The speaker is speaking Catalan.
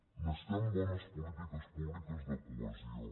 necessitem bones polítiques públiques de cohesió